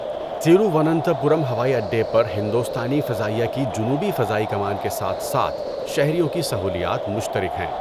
تروواننتاپورم ہوائی اڈہ پر ہندوستانی فضائیہ کی جنوبی فضائی کمان کے ساتھ ساتھ شہریوں کی سہولیات مشترک ہیں۔